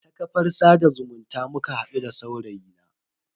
Ta kafar sada zumunta muka hadu da saurayi na.